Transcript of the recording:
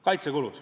Kaitsekulud.